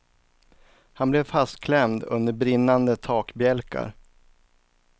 Han blev fastklämd under brinnande takbjälkar.